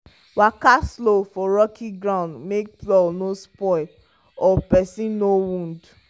waka slow for rocky ground make plow no spoil or person no wound.